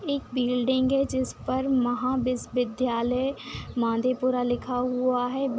एक बिल्डिंग है जिस पर महाबीसविद्यालय माधेपुरा लिखा हुआ है ब --